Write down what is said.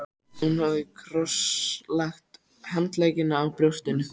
Hún hafði krosslagt handleggina á brjóstinu.